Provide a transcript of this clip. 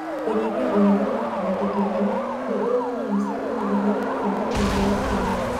Kũnyihia ũhoro no kũhotekeke nĩ ũrĩ wona mbica ĩna ũhoro obithinĩ ya dagĩtarĩ.